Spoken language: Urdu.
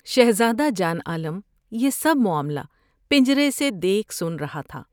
شہزادہ جان عالم یہ سب معاملہ پنجرے سے دیکھ سن رہا تھا ۔